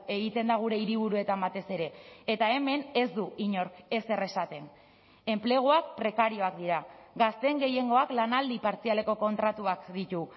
egiten da gure hiriburuetan batez ere eta hemen ez du inork ezer esaten enpleguak prekarioak dira gazteen gehiengoak lanaldi partzialeko kontratuak ditu